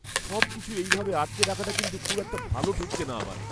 সবকিছু এইভাবে আটকে রাখাটা কিন্তু খুব একটা ভালো ঠেকছে না আমার!